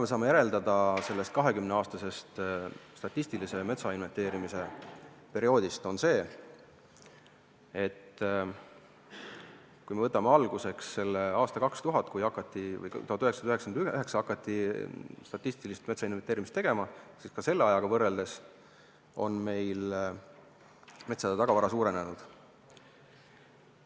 Me saame sellest 20-aastasest statistilise metsainventeerimise perioodist järeldada seda, et kui võtame alguseks aasta 2000 või 1999, kui statistilist metsainventeerimist tegema hakati, siis selle ajaga võrreldes on meil metsade tagavara suurenenud.